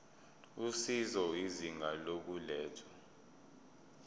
usizo izinga lokulethwa